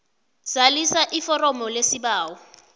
zalisa iforomo lesibawo